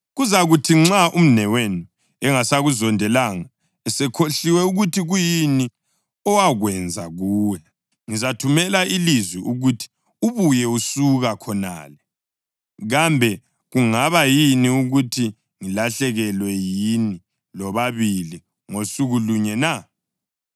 Kuzakuthi nxa umnewenu engasakuzondelanga esekhohliwe ukuthi kuyini owakwenza kuye, ngizathumela ilizwi ukuthi ubuye usuka khonale. Kambe kungaba yini ukuthi ngilahlekelwe yini lobabili ngasuku lunye na?”